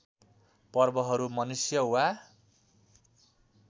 पर्वहरू मनुष्य वा